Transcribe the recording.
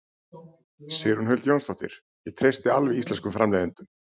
Sigrún Huld Jónsdóttir: Ég treysti alveg íslenskum framleiðendum?